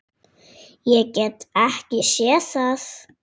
Ég get ekki séð það.